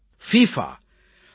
FIFA FIFA